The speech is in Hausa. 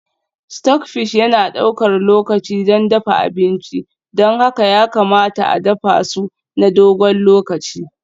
Stockfish yana ɗaukar lokaci don dafa abinci, don haka ya kamata a dafa su na dogon lokaci.